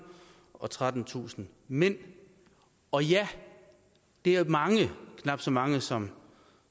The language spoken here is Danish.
og trettentusind mænd og ja det er mange knap så mange som